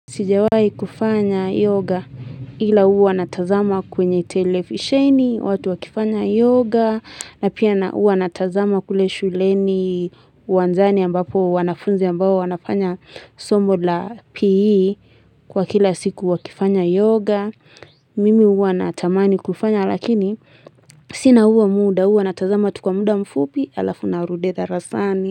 Sijawahi kufanya yoga ila uwa natazama kwenye televisheni, watu wakifanya yoga, na pia huwa natazama kule shuleni uwanjani ambapo wanafunzi ambao wanafanya somo la PE kwa kila siku wakifanya yoga, mimi huwa natamani kufanya lakini sina huo muda huwa natazama tu kwa muda mfupi alafu narudi darasani.